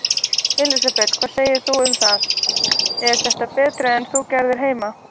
Elísabet: Hvað segir þú um það, er þetta betra en þú gerir heima?